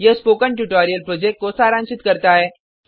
यह spoken tutorial project को सारांशित करता है